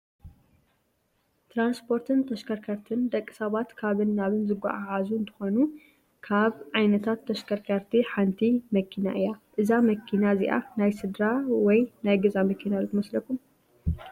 ትራንስፖርትን ተሽከርከርትን፡- ንደቂ ሰባት ካብን ናብን ዘጓዓዕዙ እንትኾኑ ካብ ዓይነታት ተሽከርከርቲ ሓንቲ መኪና እያ፡፡ እዛ መኪና እዚኣ ናይ ስድራ ወይ ናይ ገዛ መኪና ዶ ትመስለኩም?